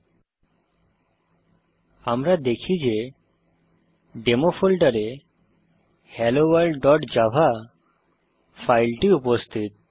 LS আমরা দেখি যে ডেমো ফোল্ডারে helloworldজাভা ফাইল উপস্থিত